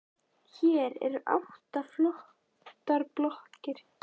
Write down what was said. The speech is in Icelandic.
Hér eru átta flottar blokkir.